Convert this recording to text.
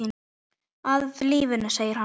Af lífinu, segir hann.